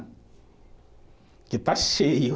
Porque está cheio.